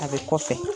A bɛ kɔfɛ